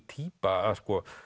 týpa að